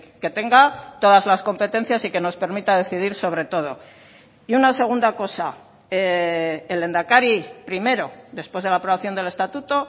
que tenga todas las competencias y que nos permita decidir sobre todo y una segunda cosa el lehendakari primero después de la aprobación del estatuto